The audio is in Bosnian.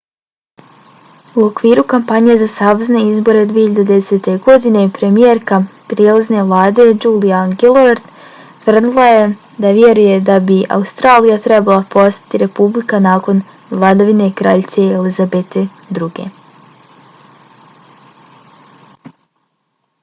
u okviru kampanje za savezne izbore 2010. godine premijerka prijelazne vlade julia gillard tvrdila je da vjeruje da bi australija trebala postati republika nakon vladavine kraljice elizabete ii